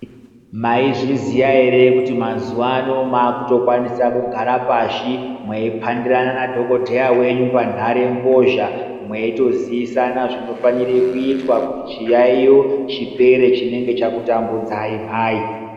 Maizviziya ere kuti mazuva ano makutokwanisa kugara pashi mweipandirana nadhokotera wenyu panharembozha mweitozivisana zvinofanira kuitwa kuti chiyaiyo chipere chinenge chakutambudzai mhai.